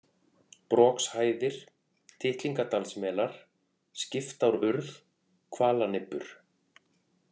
Brokshæðir, Tittlingadalsmelar, Skiptárurð, Hvalanibbur